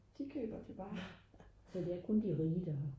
de køber det bare